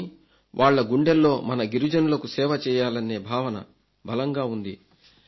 కానీ వాళ్ల గుండెల్లో మన గిరిజనులకు సేవ చేయాలన్న భావన బలంగా ఉంది